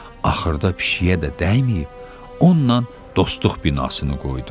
Axırda pişiyə də dəyməyib, onunla dostluq binasını qoydu.